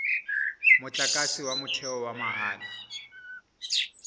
motlakase wa motheo wa mahala